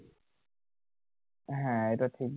হ্যাঁ এটা ঠিক